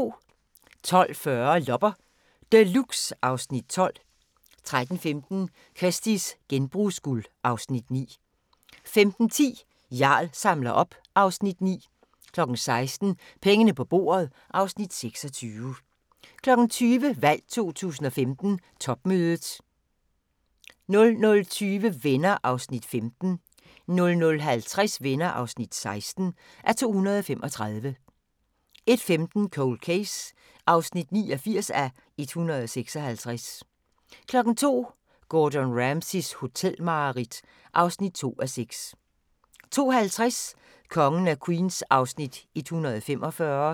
12:40: Loppe Deluxe (Afs. 12) 13:15: Kirsties genbrugsguld (Afs. 9) 15:10: Jarl samler op (Afs. 9) 16:00: Pengene på bordet (Afs. 26) 20:00: Valg 2015: Topmødet 00:20: Venner (15:235) 00:50: Venner (16:235) 01:15: Cold Case (89:156) 02:00: Gordon Ramsays hotelmareridt (2:6) 02:50: Kongen af Queens (145:216)